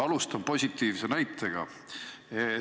Alustan positiivse näitega.